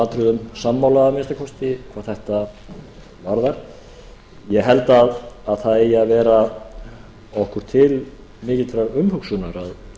atriðum sammála að minnsta kosti hvað þetta varðar ég held að það eigi að vera okkur til mikillar umhugsunar að